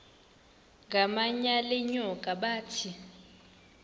ngamanyal enyoka bathi